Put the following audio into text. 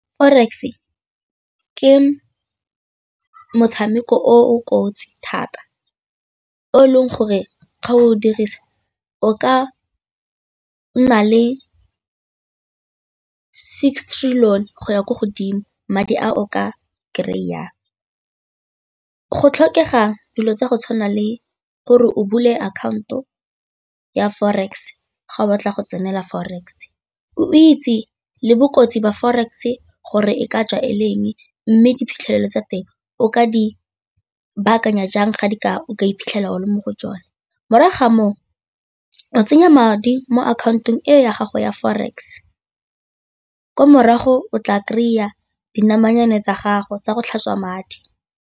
Forex ke motshameko O o kotsi thata o e leng gore ga o dirisa o ka nna le six trillion go ya ko godimo madi a o ka kry-ang go tlhokega dilo tsa go tshwana le gore o bule account-o ya forex ga o batla go tsenela forex, o itse le bokotsi ba forex gore e ka tswa e le eng mme diphitlhelelo tsa teng o ka di baakanya jang ga di ka o ka iphitlhela o le mo go tsone. Morago ga moo, o tsenya madi mo akhaontong ya gago ya forex kwa morago o tla kry-a dinamane tsa gago tsa go tlhatswa madi.